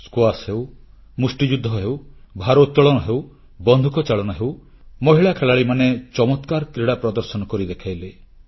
squash ହେଉ ମୁଷ୍ଟିଯୁଦ୍ଧ ହେଉ ଭାରୋତ୍ତଳନ ହେଉ ବନ୍ଧୁକଚାଳନା ହେଉ ମହିଳା ଖେଳାଳିମାନେ ଚମତ୍କାର କ୍ରୀଡ଼ା ପ୍ରଦର୍ଶନ କରି ଦେଖାଇଲେ